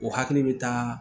O hakili bɛ taa